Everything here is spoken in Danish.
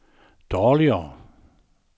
dårligere